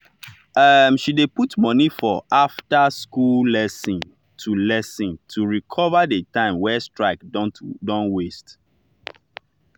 um she dey put money for after-school lesson to lesson to recover the time wey strike don waste.